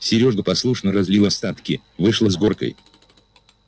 серёга послушно разлил остатки вышло с горкой